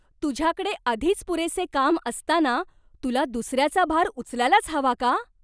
तुझ्याकडे आधीच पुरेसे काम असताना तुला दुसऱ्याचा भार उचलायलाच हवा का?